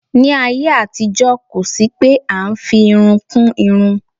Ní ayé àtijó kó sì pé a ń fi irun kún irun.